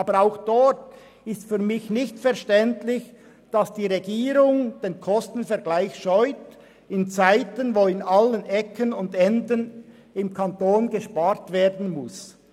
Aber auch diesbezüglich ist es für mich nicht verständlich, dass die Regierung den Kostenvergleich in Zeiten scheut, in denen an allen Ecken und Enden im Kanton gespart werden muss.